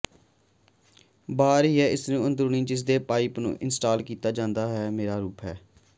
ਬਾਹਰ ਹੀ ਇਸ ਨੂੰ ਅੰਦਰੂਨੀ ਜਿਸ ਦੇ ਪਾਈਪ ਨੂੰ ਇੰਸਟਾਲ ਕੀਤਾ ਹੈ ਮੇਰਾ ਰੂਪ ਹੈ